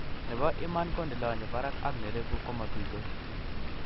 Nebo iman ko nelonye barak ak nereku komatuitos